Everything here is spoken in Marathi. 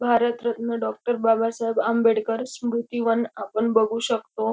भारतरत्न डॉक्टर बाबा साहेब आंबेडकर स्मृति वन आपण बघू शकतो.